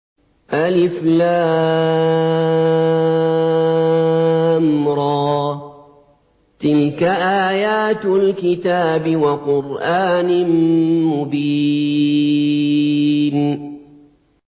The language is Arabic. الر ۚ تِلْكَ آيَاتُ الْكِتَابِ وَقُرْآنٍ مُّبِينٍ